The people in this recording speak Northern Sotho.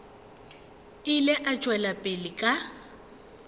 ile a tšwela pele ka